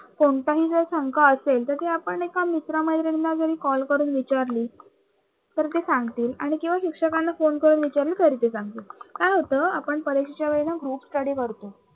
कोणत्याही जर शंका असेल तर ते आपण एका मित्र मैत्रिणींना जरी call करून जर विचारली तर ते सांगतील आणि किंवा शिक्षकांना phone करून विचारलं तरी ते सांगतील. काय होत आपण परीक्षेच्या वेळेला groupstudy करतो.